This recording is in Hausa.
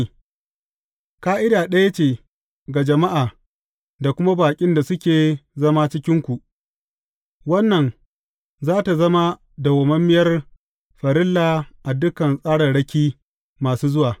Ƙa’ida ɗaya ce ga jama’a da kuma baƙin da suke zama a cikinku, wannan za tă zama dawwammamiyar farilla a dukan tsararraki masu zuwa.